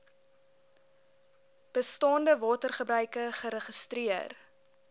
bestaande watergebruike geregistreer